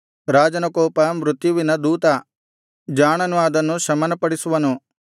ರಾಜನ ಕೋಪ ಮೃತ್ಯುವಿನ ದೂತ ಜಾಣನು ಅದನ್ನು ಶಮನಪಡಿಸುವನು